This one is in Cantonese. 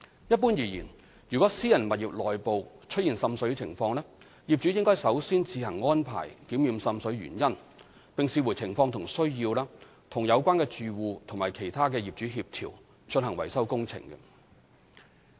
一般而言，如果私人物業內部出現滲水情況，業主應首先自行安排檢驗滲水原因，並視乎情況和需要，與有關的住戶及其他業主協調，進行維修工程。